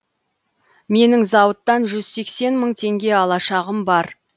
менің зауыттан жүз сексен мың теңге алашағым бар